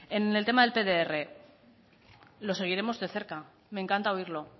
en el tema del pdr lo seguiremos de cerca me encanta oírlo